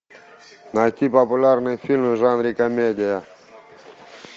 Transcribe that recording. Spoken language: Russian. найти популярные фильмы в жанре комедия